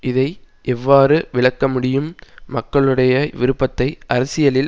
இதை எவ்வாறு விளக்க முடியும் மக்களுடைய விருப்பத்தை அரசியலில்